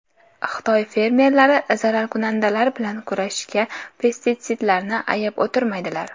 Xitoy fermerlari zararkunandalar bilan kurashishda pestitsidlarni ayab o‘tirmaydilar.